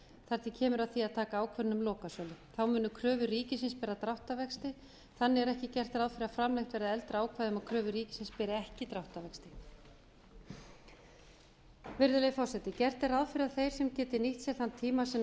til kemur að því að taka ákvörðun um lokasölu þá munu kröfur ríkisins bera dráttarvexti þannig er ekki gert ráð fyrir að framlengt verði eldra ákvæði um að kröfur ríkisins beri ekki dráttarvexti virðulegi forseti gert er ráð fyrir að þeir sem geti nýtt sér þann tíma sem